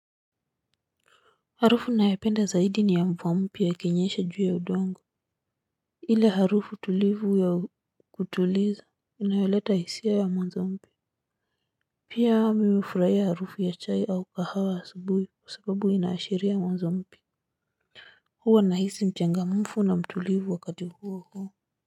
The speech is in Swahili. Harufu ninayo penda zaidi ni ya mvua mpya ikinyesha ju ya udongo ile harufu tulivu ya kutuliza inayoleta hisia ya mwanzo mpya. Pia mimi hufurahia harufu ya chai au kahawa asubuhi kwa sababu inaashiria mwanzo mpya. Huwa nahisi mchangamufu na mtulivu wakati huo huo.